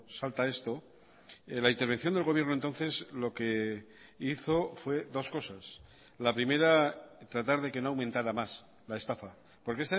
salta esto la intervención del gobierno entonces lo que hizo fue dos cosas la primera tratar de que no aumentara más la estafa porque